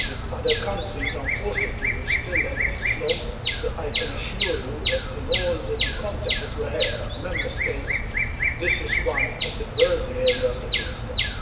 other countries, unfortunately, are still a little slow. I can assure you that, in all the contacts that we have with the Member States, this is one of the priority areas that we discuss.